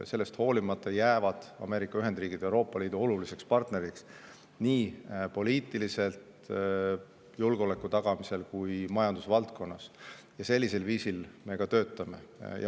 Ja sellest hoolimata jäävad Ameerika Ühendriigid Euroopa Liidu oluliseks partneriks nii poliitiliselt, julgeoleku tagamisel kui ka majandusvaldkonnas, ning sellisel viisil me ka töötame.